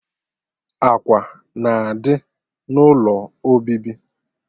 Ákwà na-adị n'ụlọ obibi